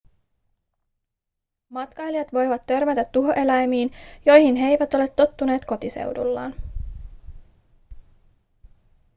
matkailijat voivat törmätä tuhoeläimiin joihin he eivät ole tottuneet kotiseudullaan